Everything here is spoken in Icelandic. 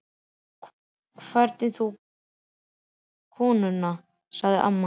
Hvernig þú getur látið við konuna, sagði amma.